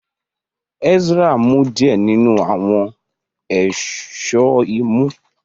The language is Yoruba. Ezra mu diẹ ninu awọn Èṣó imú.